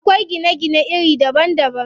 Akwai gine gine iri daban daban.